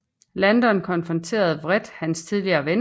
Landon konfronterer vredt hans tidligere ven